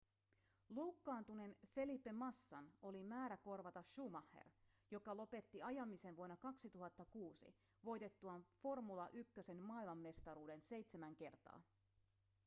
loukkaantuneen felipe massan oli määrä korvata schumacher joka lopetti ajamisen vuonna 2006 voitettuaan formula 1:n maailmanmestaruuden seitsemän kertaa